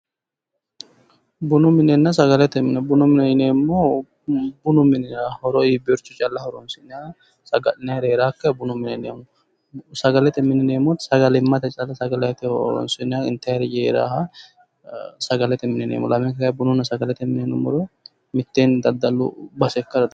Bunu minenna sagalete mine, bunu mine yineemohu bunu minira horo iibiyooricho calla horoosi'nanni saga'linanniri heerakiha bunu mine yinanni. sagalete mine yineemohu sagalimate calla sagalete horosi'nayire intayiiri heeraha sagalete mine yineemo. lamenku heeraha bununna sagalete mine yinumoro mittenni dadallu base ikkara dandaawo.